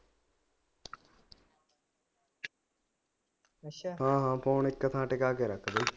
ਹਾਂ ਹਾਂ ਫੋਨ ਇੱਕ ਥਾਂ ਟਿਕਾ ਕੇ ਰੱਖ ਦੇ